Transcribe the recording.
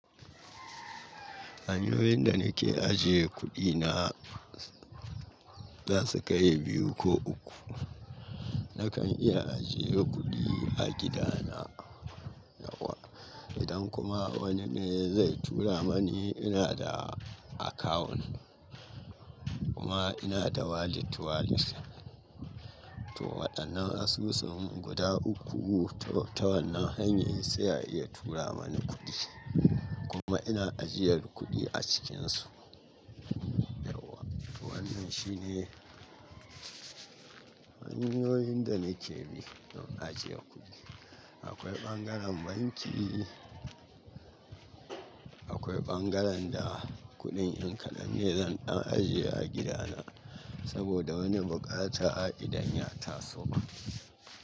Hanyoyin da nake ajiye kuɗina za su kai biyu ko uku. Nakan iya ajiye kuɗi a gidana, yauwa. Idan kuma wani ne zai tura mani, ina da akawun kuma ina da wallet wallet. To waɗannan asusu guda uku ta wannan hanyoyi sai ya iya tura mani kuɗi kuma ina ajiyar kuɗi a cikinsu, yauwa. To wannan shi ne hanyoyin da nake bi don ajiye kuɗi. Akwai ɓangaren banki, akwai ɓangaren da kuɗin in kadan ne zan ɗan ajiye a gidana saboda wani buƙata a idan ya taso ma.